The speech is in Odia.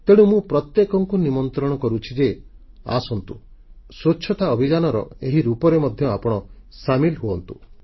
ତେଣୁ ମୁଁ ପ୍ରତ୍ୟେକଙ୍କୁ ନିମନ୍ତ୍ରଣ କରୁଛି ଯେ ଆସନ୍ତୁ ସ୍ୱଚ୍ଛତା ଅଭିଯାନର ଏହି ରୂପରେ ମଧ୍ୟ ଆପଣ ସାମିଲ ହୁଅନ୍ତୁ